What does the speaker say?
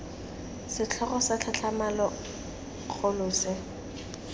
setlhogo sa tlhatlhamano kgolo se